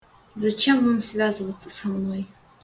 зачем вам связываться со мной